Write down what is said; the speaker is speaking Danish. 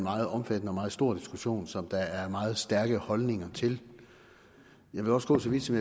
meget omfattende og meget stor diskussion som der er meget stærke holdninger til jeg vil også gå så vidt som